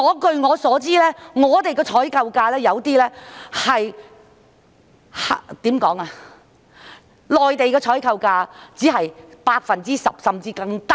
據我所知，內地的採購價只是我們的採購價的 10%， 甚至更低。